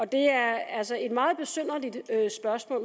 det er altså et meget besynderligt spørgsmål